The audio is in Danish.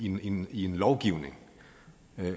ind i en lovgivning